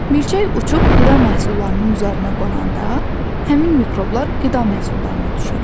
Milçək uçub qida məhsullarının üzərinə qonanda həmin mikroblar qida məhsullarına düşür.